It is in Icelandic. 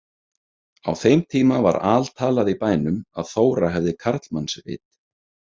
Á þeim tíma var altalað í bænum að Þóra hefði karlmannsvit.